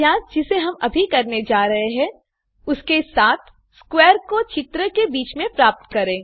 अभ्यास जिसे हम अभी करने जा रहे हैं उसके साथ स्क्वैर को चित्र के बीच में प्राप्त करें